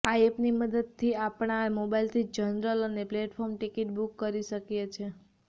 આ એપની મદદથી આપણાં મોબાઈલ થી જનરલ અને પ્લેટફોર્મ ટીકીટ બુક કરી શકીએ છે